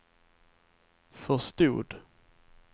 förstod